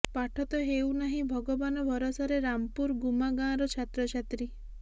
ପାଠ ତ ହେଉ ନାହିଁ ଭଗବାନ ଭରସାରେ ରାମପୁର ଗୁମା ଗାଁର ଛାତ୍ରଛାତ୍ରୀ